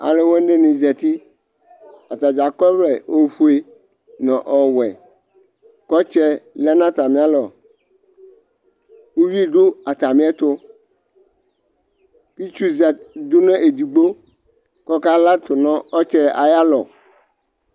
Alʋ wanɩ zǝtɩ Atadza akɔ ɔvlɛ ofue nʋ ɔwɛ, kʋ ɔtsɛ lɛ nʋ atamɩ alɔ Uvi dʋ atamɩ ɛtʋ Ɩtsʋ dʋ nʋ edigno, kʋ ɔka latʋ nʋ ɔtsɛ ayʋ alɔ